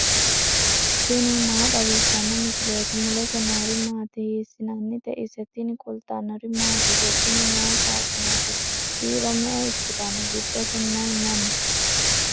tini maa xawissanno misileeti ? mulese noori maati ? hiissinannite ise ? tini kultannori mattiya? tini mayi saaxinete? kiiro me'e ikkitanno? giddose may may noo?